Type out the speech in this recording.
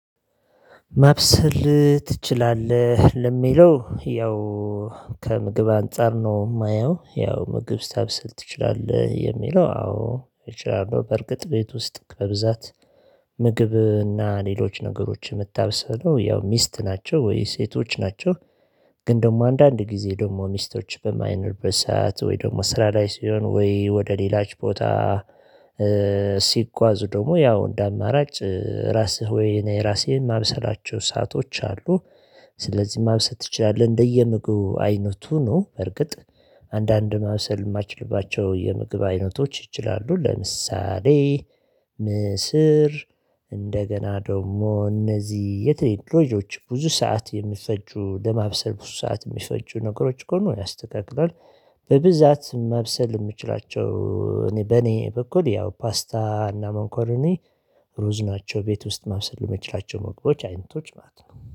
ማብሰል ትችላለህ ለሚለው ያው ከምግብ አንፃር ነው የማየው ያው ምግብ ስታብስል ትችላለህ የሚለው አዎ እችላለሁ በእርግጥ ቤት ውስጥ ከብዛት። ምግብ እና ሌሎች ነገሮች የምታብሰለው ያው ሚስት ናቸው ወይ ሴቶች ናቸው? ግን ደግሞ አንዳንድ ጊዜ ደግሞ ሚስቶች በማይኖሩበት ሰዓት ወይ ደግሞ ስራ ላይ ሲሆን ወይ ወደ ሌላ ቦታ። ሲጓዙ ደግሞ ያው እንደ አማራጭ ራስህ ወይ እኔ ራሴን ማብሰላቸው ሰአቶች አሉ። ስለዚህ ማብሰል ትችላለህ እንደየምግቡ አይነቱ ነው በርግጥ። አንዳንድ ማብሰል የማይችልባቸው የምግብ አይነቶች ይችላሉ ለምሳሌ። ምስር እንደገና ደግሞ እነዚህ የትሌት ሮጆች ብዙ ሰዓት የሚፈጁ ለማብሰል ብዙ ሰዓት የሚፈጁ ነገሮች ከሆኑ ያስተካክላል። በብዛት ማብሰል የምችላቸው እኔ በእኔ በኩል ያው ፓስታ እና መኮረኒ ሩዝ ናቸው። ቤት ውስጥ ማብሰል የምትችላቸው መግቦችች አይነቶች ማለት ነው